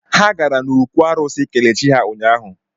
Ha gara n’okwụ arụsị ikele chi ha ụnyahụ.